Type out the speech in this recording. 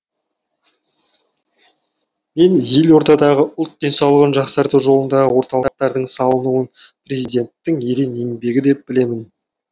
мен елордадағы ұлт денсаулығын жақсарту жолындағы орталықтардың салынуын президенттің ерен еңбегі деп білемін